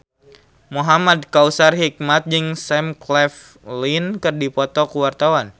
Muhamad Kautsar Hikmat jeung Sam Claflin keur dipoto ku wartawan